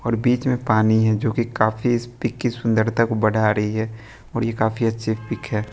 और बीच में पानी है जो कि काफी इस पिक की सुंदरता को बढ़ा रही है और ये काफी अच्छी पिक है।